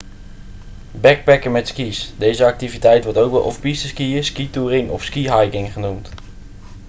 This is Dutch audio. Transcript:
backpacken met ski's deze activiteit wordt ook wel off-piste skiën skitouring of skihiking genoemd